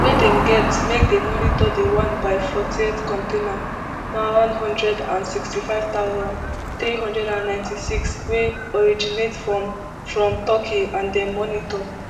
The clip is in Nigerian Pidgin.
wey dem get make dem monitor di one by fortyft container maeu one hundred and sixty-five thousand, three hundred and ninety-six wey originate from from turkey and dem monitor